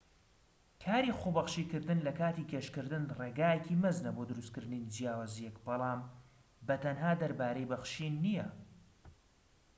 کاری خۆبەخشی کردن لە کاتی گەشتکردن ڕێگایەکی مەزنە بۆ دروستكردنی جیاوازیەک بەڵام بە تەنها دەربارەی بەخشین نیە